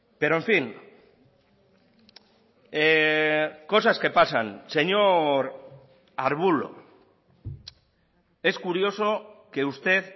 pero en fin cosas que pasan señor arbulo es curioso que usted